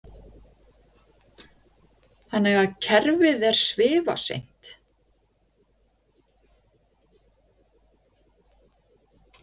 Brynja Þorgeirsdóttir: Þannig að kerfið er svifaseint?